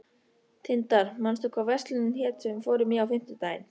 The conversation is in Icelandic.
Tindar, manstu hvað verslunin hét sem við fórum í á fimmtudaginn?